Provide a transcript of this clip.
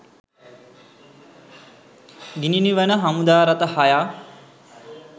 ගිනි නිවන හමුදා රථ හයක්